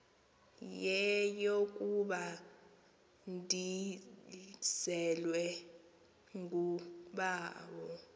yeyokuba ndizelwe ngubawo